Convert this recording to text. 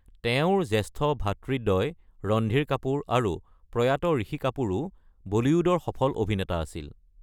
তেওঁৰ জ্যেষ্ঠ ভাতৃদ্বয় ৰণধীৰ কাপুৰ আৰু প্ৰয়াত ঋষি কাপুৰো বলীউডৰ সফল অভিনেতা আছিল।